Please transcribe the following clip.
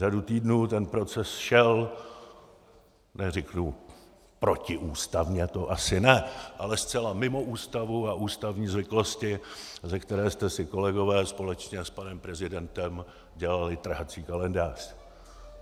Řadu týdnů ten proces šel - neřeknu protiústavně, to asi ne, ale zcela mimo Ústavu a ústavní zvyklosti, ze které jste si, kolegové, společně s panem prezidentem dělali trhací kalendář.